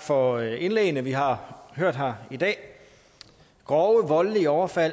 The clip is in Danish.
for indlæggene vi har hørt her i dag grove voldelige overfald